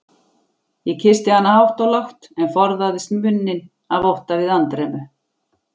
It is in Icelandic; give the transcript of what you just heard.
Ég kyssti hana hátt og lágt, en forðaðist munninn af ótta við andremmu.